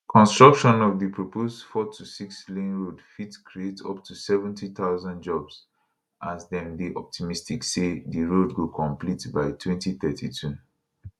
construction of di proposed fourtosix lane road fit create up to 70000 jobs as dem dey optimistic say di road go complete by 2032